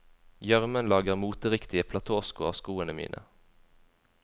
Gjørmen lager moteriktige platåsko av skoene mine.